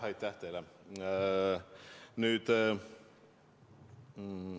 Aitäh teile!